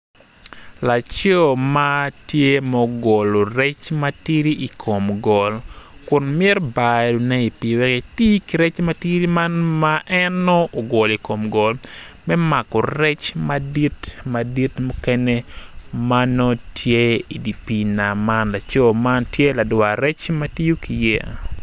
Laco ma tye ogolo rec ma tidi i kom goli kun mitobayone i pii wek en eti ki rec man ma tidi me mako rec madit mukene ma nongo tye i dye pii nam man laco man tye ladwar rec ma tiyo ki yeya.